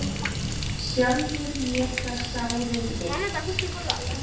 sjálfur mér það sárið veitt